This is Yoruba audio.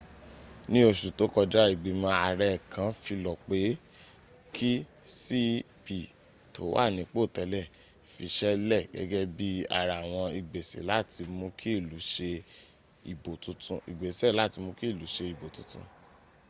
ní oṣù tó kọjá ìgbìmọ̀ àrẹ kan filọ̀ pe kí cep tó wà nípò tẹ́lẹ̀ fi iṣẹ́ lẹ̀ gẹ́gẹ́ bí ara àwọn igbese láti mú kí ilu ṣe ìbò titun